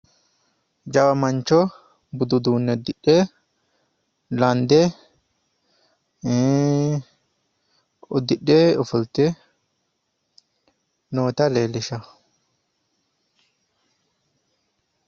jawa mancho budu uduunne udidhe lande ii udidhe ofolte noota leellishshanno.